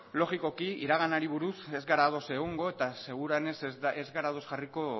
logikoki iraganari buruz ez gara ados egongo eta seguruenez ez gara ados jarriko